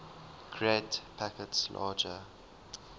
create packets larger